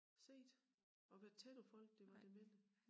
Set og været tæt på folk der var demente